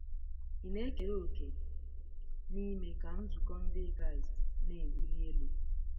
Ị̀ na-ekere òkè n'ime ka Nzukọ Ndị Kraịst na-ewuli elu?